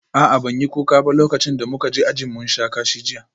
A'a ban yi kuka ba lokacin da muka ji ajin mun sha kashi jiya